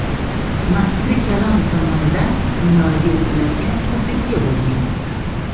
Masjidi Kalon tomonidan minoraga o‘tiladigan ko‘prikcha bo‘lgan.